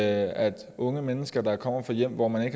at unge mennesker der kommer fra hjem hvor man